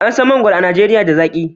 An san mangwaro a Najeriya da zaki